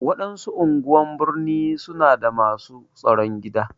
Waɗansu anguwan birni su na da masu tsaron gida.